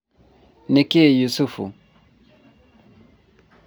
nĩkĩ Yusufu?